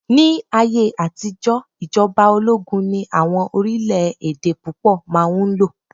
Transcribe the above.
ní ayé àtijó ijoba ologun ni awọn orilẹ ede púpò ma n lo